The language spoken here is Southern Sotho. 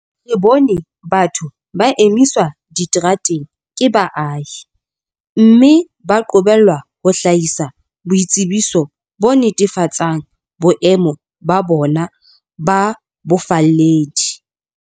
Re bone batho ba emiswa diterateng ke baahi, mme ba qobellwa ho hlahisa boitsebiso bo netefatsang boemo ba bona ba bofalledi.